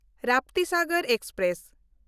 Raptisagar express